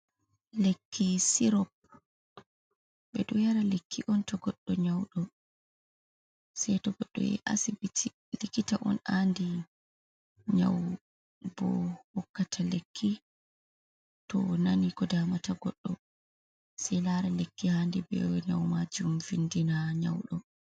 Lekki sirop ɓe ɗo yara lekki on to goɗɗo nyauɗo, se to goɗɗo yahi asibiti ha likkita on andi nyau bo hokkata lekki to, onani ko damata goɗɗo sei lara lekki haadi be nyau majum findina nyauɗo.